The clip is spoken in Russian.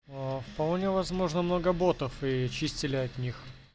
а вполне возможно много ботов и чистили от них